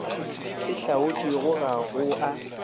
se hlaotšwego ga go a